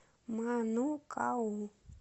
манукау